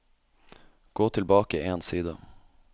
Gå tilbake én side